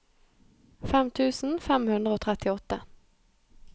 fem tusen fem hundre og trettiåtte